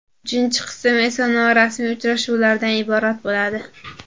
Uchinchi qism esa norasmiy uchrashuvlardan iborat bo‘ladi.